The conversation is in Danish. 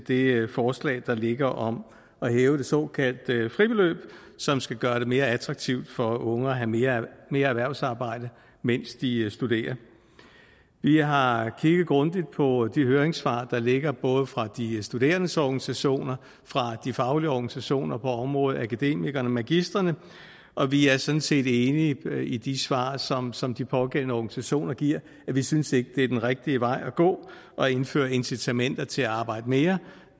det forslag der ligger om at hæve det såkaldte fribeløb som skal gøre det mere attraktivt for unge at have mere erhvervsarbejde mens de studerer vi har kigget grundigt på de høringssvar der ligger både fra de studerendes organisationer og fra de faglige organisationer på området akademikerne magistrene og vi er sådan set enige i de svar som som de pågældende organisationer giver vi synes ikke at det er den rigtige vej at gå at indføre incitamenter til at arbejde mere